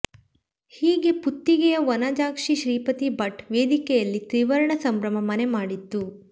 ಹೀಗೆ ಪುತ್ತಿಗೆಯ ವನಜಾಕ್ಷಿ ಶ್ರೀಪತಿ ಭಟ್ ವೇದಿಕೆಯಲ್ಲಿ ತ್ರಿವರ್ಣ ಸಂಭ್ರಮ ಮನೆ ಮಾಡಿತ್ತು